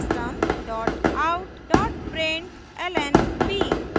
system out println b;